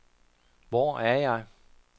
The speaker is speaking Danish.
Hvor er jeg